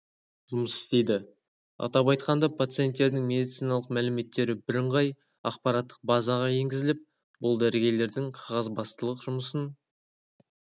жұмыс істейді атап айтқанда пациенттердің медициналық мәліметтері бірыңғай ақпараттық базаға енгізіліп бұл дәрігерлердің қағазбастылық жұмысын